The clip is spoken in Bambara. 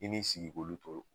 K'i n'i sigi k'olu tɔɔrɔ